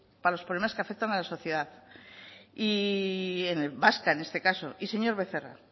para los problemas que afectan a la sociedad vasca en este caso y señor becerra